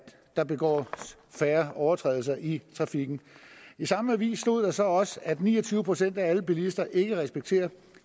der begås færre overtrædelser i trafikken i samme avis stod der så også at ni og tyve procent af alle bilister ikke respekterer